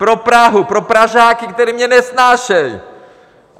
Pro Prahu, pro Pražáky, kteří mě nesnáší!